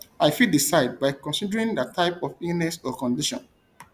i fit decide by considering di type of illness or condition